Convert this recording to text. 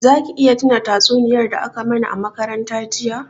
Za ki iya tuna tatsuniyar da a ka mana a makaranta jiya?